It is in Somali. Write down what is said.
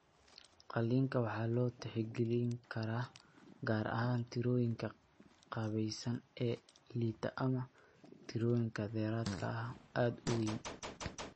Qalliinka waxa loo tixgelin karaa gaar ahaan tirooyinka qaabaysan ee liita ama tirooyin dheeraad ah oo aad u weyn.